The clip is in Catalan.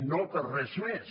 no per res més